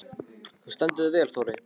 Þú stendur þig vel, Þórey!